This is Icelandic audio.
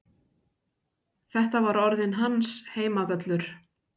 Þetta var orðinn hans heimavöllur.